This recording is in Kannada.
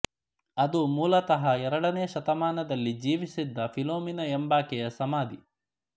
ಅದು ಮೂಲತಃ ಎರಡನೇ ಶತಮಾನದಲ್ಲಿ ಜೀವಿಸಿದ್ದ ಫಿಲೋಮಿನಾ ಎಂಬಾಕೆಯ ಸಮಾಧಿ